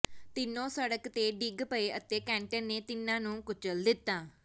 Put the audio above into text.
ਤਿੰਨੋਂ ਸੜਕ ਤੇ ਡਿੱਗ ਪਏ ਅਤੇ ਕੈਂਟਰ ਨੇ ਤਿੰਨਾਂ ਨੂੰ ਕੁਚਲ ਦਿੱਤਾ